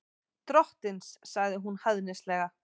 Drottins, sagði hún hæðnislega.